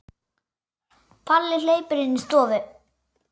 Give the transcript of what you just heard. Palli hleypur inn í stofu.